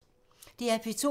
DR P2